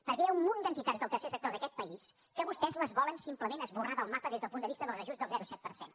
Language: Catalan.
perquè hi ha un munt d’entitats del tercer sector d’aquest país que vostès les volen simplement esborrar del mapa des del punt de vista dels ajuts del zero coma set per cent